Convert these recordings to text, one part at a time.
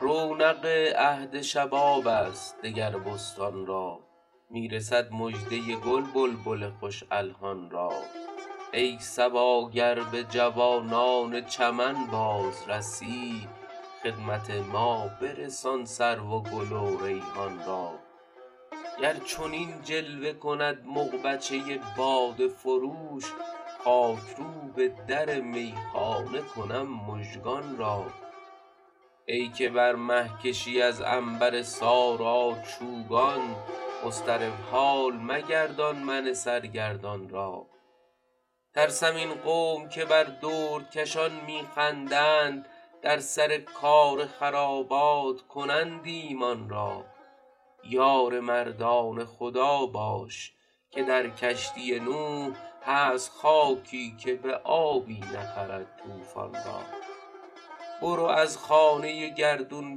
رونق عهد شباب است دگر بستان را می رسد مژده گل بلبل خوش الحان را ای صبا گر به جوانان چمن باز رسی خدمت ما برسان سرو و گل و ریحان را گر چنین جلوه کند مغبچه باده فروش خاک روب در میخانه کنم مژگان را ای که بر مه کشی از عنبر سارا چوگان مضطرب حال مگردان من سرگردان را ترسم این قوم که بر دردکشان می خندند در سر کار خرابات کنند ایمان را یار مردان خدا باش که در کشتی نوح هست خاکی که به آبی نخرد طوفان را برو از خانه گردون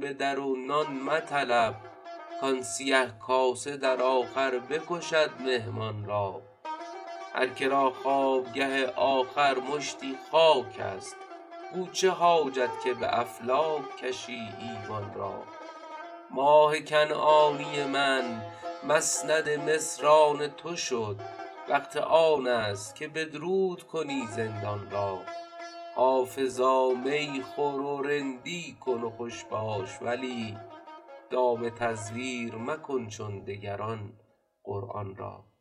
به در و نان مطلب کآن سیه کاسه در آخر بکشد مهمان را هر که را خوابگه آخر مشتی خاک است گو چه حاجت که به افلاک کشی ایوان را ماه کنعانی من مسند مصر آن تو شد وقت آن است که بدرود کنی زندان را حافظا می خور و رندی کن و خوش باش ولی دام تزویر مکن چون دگران قرآن را